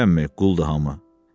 Demirəmmi quldur hamı.